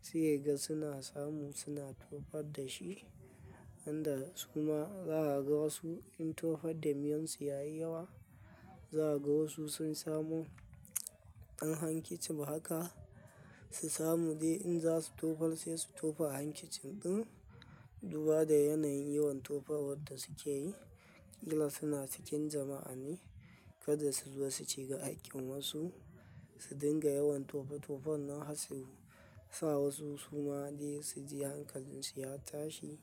Sai kaga suna samu suna tofarda shi. Wanda suma za a ga wasu in tofar da miyon su yayi yawa, za a ga wasu sun samu ɗan hankici. To haka su samu dai inza su tofar sai su tofa a hankicin ɗin. Duba da yanayin yawan tofar wanda suke yi. Kila suna cikin jama'a ne, kada suzo su shiga haƙin wasu, su dinga yawan tofa tofon nan har su sa wasu suma dai suji hankalinsu ya tashi.